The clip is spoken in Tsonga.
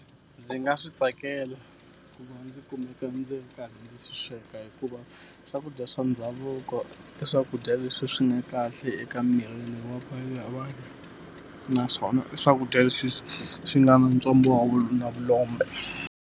Ndzi nga swi tsakela ku va ndzi kumeka ndzi karhi ndzi swi sweka hikuva, swakudya swa ndhavuko i swakudya leswi swi nga kahle eka miri wa ya vanhu. Naswona i swakudya leswi swi swi nga na wa vulombe.